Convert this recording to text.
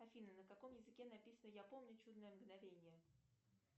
афина на каком языке написано я помню чудное мгновение